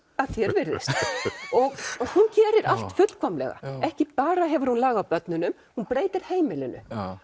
að því er virðist og hún gerir allt fullkomlega ekki bara hefur hún lag á börnunum hún breytir heimilinu